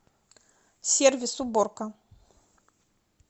сервис уборка